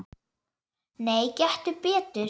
Nei, gettu betur